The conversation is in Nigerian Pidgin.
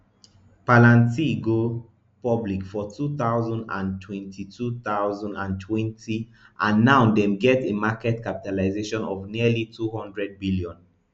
palantir go public for two thousand and twenty two thousand and twenty and now dem get a market capitalization of nearly two hundred billion